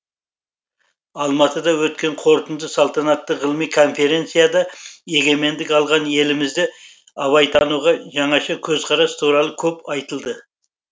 алматыда өткен қорытынды салтанатты ғылыми конференцияда егемендік алған елімізде абайтануға жаңаша көзқарас туралы көп айтылды